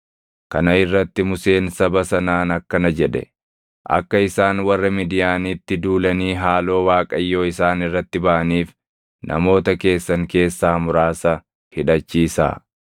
Kana irratti Museen saba sanaan akkana jedhe; “Akka isaan warra Midiyaanitti duulanii haaloo Waaqayyoo isaan irratti baʼaniif namoota keessan keessaa muraasa hidhachiisaa.